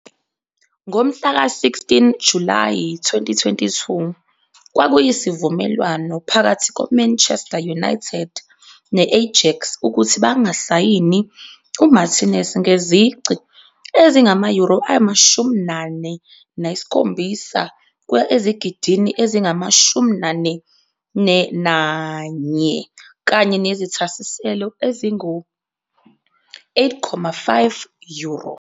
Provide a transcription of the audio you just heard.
Ngomhlaka-16 Julayi 2022, kwakuyisivumelwano phakathi ko-Manchester United ne-Ajax ukuthi bangasayini uMartínez ngezici ezingama-euro 47 kuya ezigidini ezingama-44, kanye nezithasiselo ezingu-8,5 euro.